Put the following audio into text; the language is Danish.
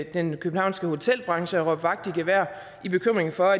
den københavnske hotelbranche råbe vagt i gevær i bekymringen for